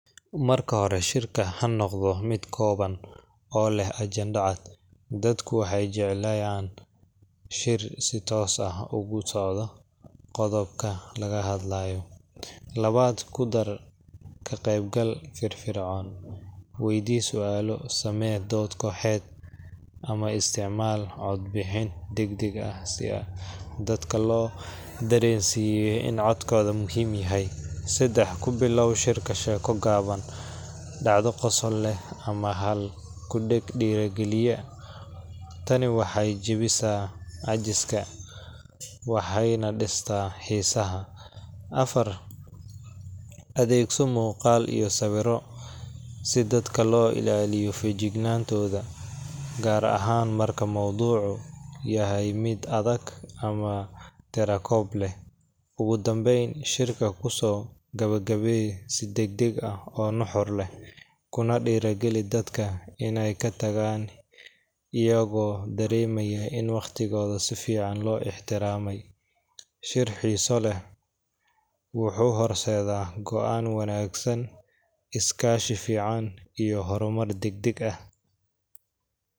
Marka hore, shirka ha noqdo mid kooban oo leh ajende cad. Dadku waxay jeclayaan shir si toos ah ugu socdo qodobka laga hadlayo. Labaad, ku dar ka-qaybgal firfircoon. Weydii su’aalo, samee dood kooxeed, ama isticmaal cod-bixin degdeg ah si dadka loo dareensiiyo in codkooda muhiim yahay. Saddexaad, ku bilow shirka sheeko gaaban, dhacdo qosol leh, ama hal-ku-dheg dhiirrigelinaya. Tani waxay jebisaa caajiska waxayna dhistaa xiisaha. Afar, adeegso muuqaal iyo sawirro si dadka loo ilaaliyo feejignaantooda, gaar ahaan marka mawduucu yahay mid adag ama tirakoob leh. Ugu dambayn, shirka ku soo gabagabee si degdeg ah oo nuxur leh, kuna dhiirrigeli dadka inay ka tagaan iyagoo dareemaya in waqtigooda si fiican loo ixtiraamay. Shir xiiso leh wuxuu horseedaa go'aan wanaagsan, iskaashi fiican, iyo horumar degdeg ah